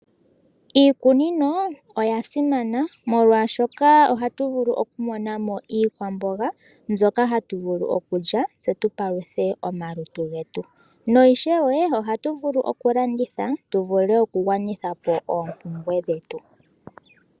Iikunino oya simana molwashoka ohatu vulu okumona mo iikwamboga mbyoka hatu vulu okulya, tse tu paluthe omalutu getu. No ishewe ohagu vulu okulanditha tu vule okugwanitha po oompumbwe dhetu.